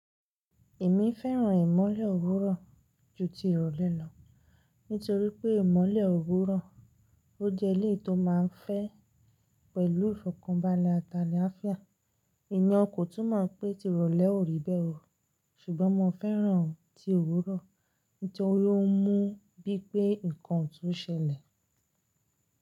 Èmi fẹ́ràn ìmọ́lẹ̀ òwúrọ̀ ju ti ìrọ̀lẹ́ lọ, nítorí pé ìmọ́lẹ̀ òwúrọ̀ ó jẹ́ eléyìí tó má a ń fẹ́ pẹ̀lú ìfọ̀kànbalẹ̀ àti àlàáfíà Ìyẹn kò tún mọ̀ pé ti ìrọ̀lẹ́ ò rí bẹ́ẹ̀ o, ṣùgbọ́n mo fẹ́ràn ti òwúrọ̀ nítorí ó ń mú bí i pé nǹkan ọ̀tún ṣẹlẹ̀.